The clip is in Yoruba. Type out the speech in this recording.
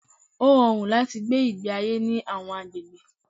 Ó rọrùn láti gbé ìgbé ayé ní àwọn agbègbè